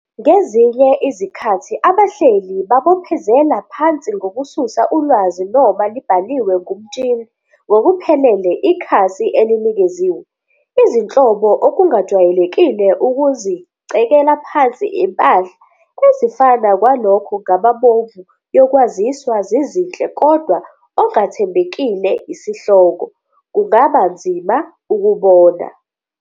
Ngezinye izikhathi abahleli babophezela phansi ngokususa ulwazi noma libhaliwe ngumtshini ngokuphelele ikhasi elinikeziwe. Izinhlobo Okungajwayelekile ukuzicekela phansi impahla, ezifana kwalokho ngamabomu yokwaziswa zizinhle kodwa ongathembekile isihloko, kungaba nzima ukubona.